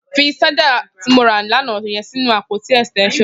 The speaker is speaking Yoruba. Fi ṣàjá ti mó rà lànà yèn sinú ápótí ẹstẹnṣọn